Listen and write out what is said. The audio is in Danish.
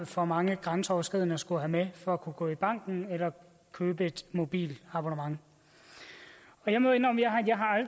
for mange er grænseoverskridende at skulle have med for at kunne gå i banken eller købe et mobilabonnement jeg må indrømme at